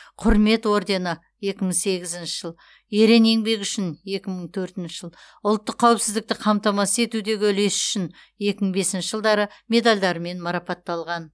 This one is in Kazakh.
құрмет ордені екі мың сегізінші жыл ерен еңбегі үшін екі мың төртінші жыл ұлттық қауіпсіздікті қамтамасыз етудегі үлесі үшін екі мың бесінші жылдары медальдарымен марапатталған